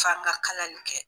F'an ka kalali kɛ.